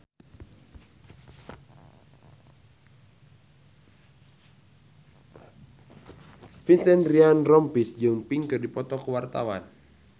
Vincent Ryan Rompies jeung Pink keur dipoto ku wartawan